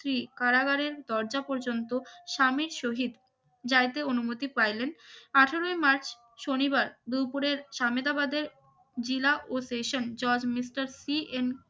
কি কারাগারের দরজা পর্যন্ত স্বামীর শহীদ যাইতে অনুমতি পাইলেন আঠেরোই মার্চ শনিবার দুপুরের সামেদাবাদে জেলা ও সেশন জজ মিস্টার সি এন